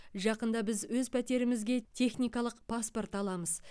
жақында біз өз пәтерімізге техникалық паспорт аламыз